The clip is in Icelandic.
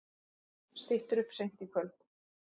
Styttir upp seint í kvöld